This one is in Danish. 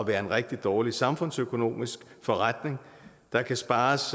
være en rigtig dårlig samfundsøkonomisk forretning der kan spares